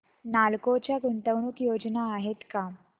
नालको च्या गुंतवणूक योजना आहेत का